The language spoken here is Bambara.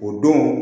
O don